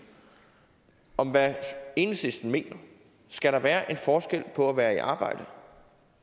om hvad enhedslisten mener skal der være en forskel på at være i arbejde